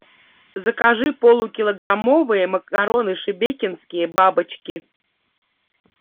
закажи полукилограммовые макароны шебекинские бабочки